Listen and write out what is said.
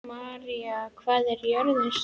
Marías, hvað er jörðin stór?